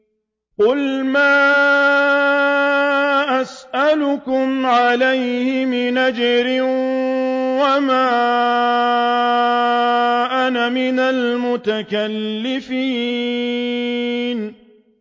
قُلْ مَا أَسْأَلُكُمْ عَلَيْهِ مِنْ أَجْرٍ وَمَا أَنَا مِنَ الْمُتَكَلِّفِينَ